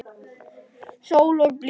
Sól og blíða.